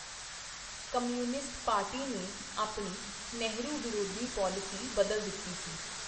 Communist party ਨੇ ਆਪਣੀ ਨਹਿਰੂ-ਵਿਰੋਧੀ ਪਾਲਿਸੀ ਬਦਲ ਦਿੱਤੀ ਸੀ.